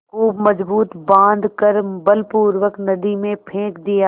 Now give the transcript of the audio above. खूब मजबूत बॉँध कर बलपूर्वक नदी में फेंक दिया